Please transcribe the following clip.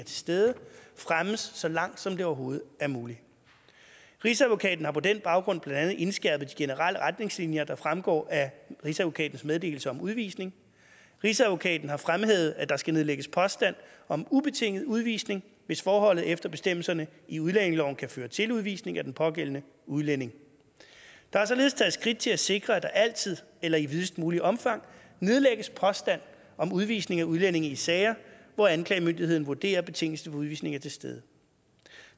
til stede fremmes så langt som det overhovedet er muligt rigsadvokaten har på den baggrund blandt andet indskærpet de generelle retningslinjer der fremgår af rigsadvokatens meddelelse om udvisning rigsadvokaten har fremhævet at der skal nedlægges påstand om ubetinget udvisning hvis forholdet efter bestemmelserne i udlændingeloven kan føre til udvisning af den pågældende udlænding der er således taget skridt til at sikre at der altid eller i videst muligt omfang nedlægges påstand om udvisning af udlændinge i sager hvor anklagemyndigheden vurderer at betingelsen for udvisning er til stede